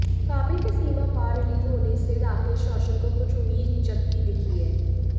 काबिल के सीमा पार रिलीज होने से राकेश रोशन को कुछ उम्मीद जगती दिखी है